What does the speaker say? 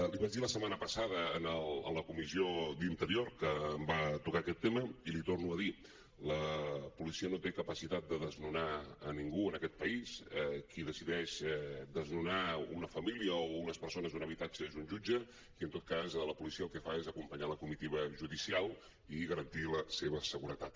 l’hi vaig dir la setmana passada en la comissió d’interior que em va tocar aquest tema i l’hi torno a dir la policia no té capacitat de desnonar a ningú en aquest país qui decideix desnonar una família o unes persones d’un habitatge és un jutge i en tot cas la policia el que fa és acompanyar la comitiva judicial i garantir la seva seguretat